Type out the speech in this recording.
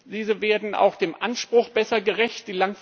Diese werden auch dem Anspruch besser gerecht.